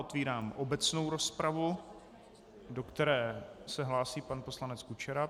Otevírám obecnou rozpravu, do které se hlásí pan poslanec Kučera.